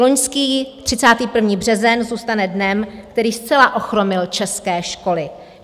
Loňský 31. březen zůstane dnem, který zcela ochromil české školy.